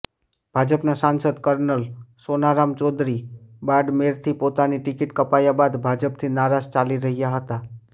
ભાજપના સાંસદ કર્નલ સોનારામ ચૌધરી બાડમેરથી પોતાની ટિકિટ કપાયા બાદ ભાજપથી નારાજ ચાલી રહ્યા હતા